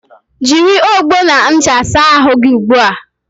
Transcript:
Jịrị ọgbọ na ncha saa ahụ gị ugbua!